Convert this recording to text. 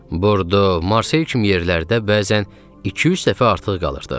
Bordo, Marsel kimi yerlərdə bəzən 200 dəfə artıq qalırdıq.